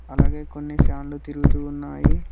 అలాగే కొన్ని ఫ్యాన్లు తిరుగుతు ఉన్నాయి.